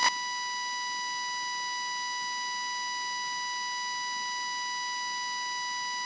flýtti hún sér að taka undir.